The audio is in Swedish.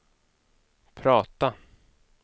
prata